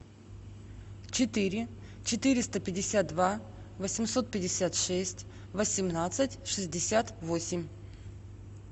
четыре четыреста пятьдесят два восемьсот пятьдесят шесть восемнадцать шестьдесят восемь